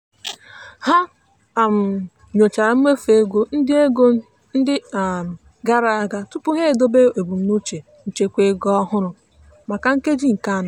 ha um nyochara mmefu ego ndị ego ndị um gara aga tupu ha edobe ebumnuche nchekwa ego ọhụrụ maka nkeji nke anọ.